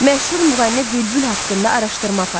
Məşhur müğənni Bülbül haqqında araşdırma aparın.